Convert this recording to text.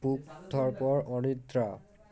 বুক ধড়ফড় অনিদ্রা